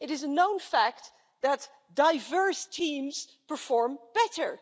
It is a known fact that diverse teams perform better.